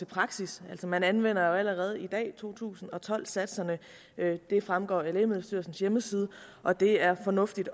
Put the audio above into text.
praksis man anvender allerede i dag to tusind og tolv satserne det fremgår af lægemiddelstyrelsens hjemmeside og det er fornuftigt